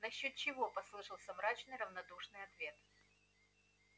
насчёт чего послышался мрачный равнодушный ответ